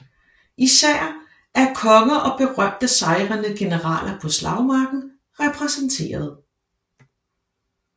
Især er konger og berømte sejrende generaler på slagmarken repræsenteret